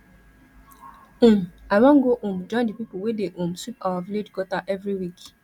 um i wan go um join di people wey dey um sweep our village gutter every week